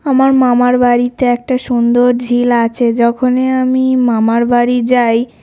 আমার মামার বাড়িতে একটা সুন্দর ঝিল আছে। যখনই আমি মামার বাড়ি যাই--